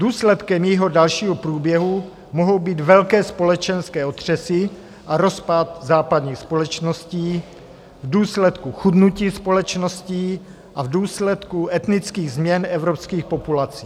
Důsledkem jejího dalšího průběhu mohou být velké společenské otřesy a rozpad západních společností v důsledku chudnutí společností a v důsledku etnických změn evropských populací.